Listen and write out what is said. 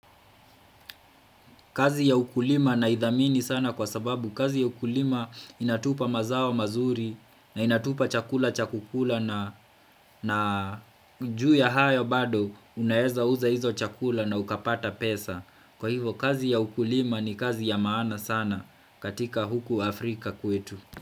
Kazi ya ukulima naidhamini sana kwa sababu. Kazi ya ukulima inatupa mazao mazuri na inatupa chakula cha kukula na juu ya hayo bado unaweza uza hizo chakula na ukapata pesa. Kwa hivyo kazi ya ukulima ni kazi ya maana sana katika huku Afrika kwetu.